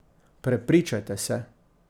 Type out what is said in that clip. Prepričajte se!